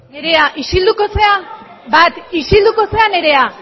nerea isilduko zera bat isilduko zera nerea